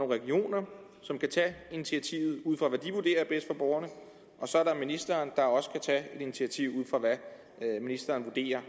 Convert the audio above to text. regioner som kan tage et initiativ ud fra hvad de vurderer er bedst for borgerne og så er der ministeren der også kan tage et initiativ ud fra hvad ministeren vurderer